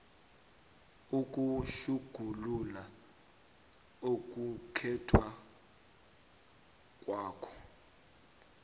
ukutjhugulula ukukhetha kwakho